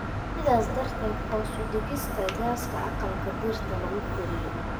sidaas darteed hoos u dhigista gaaska aqalka dhirta lagu koriyo.